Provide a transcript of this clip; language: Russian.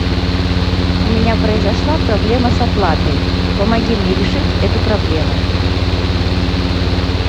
у меня произошла проблема с оплатой помоги мне решить эту проблему